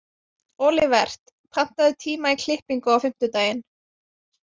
Olivert, pantaðu tíma í klippingu á fimmtudaginn.